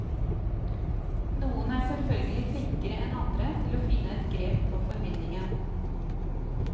Noen er selvfølgelig flinkere enn andre til å finne et grep på formidlingen.